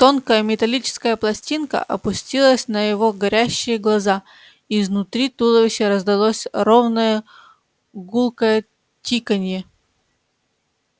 тонкая металлическая пластинка опустилась на его горящие глаза и изнутри туловища раздалось ровное гулкое тиканье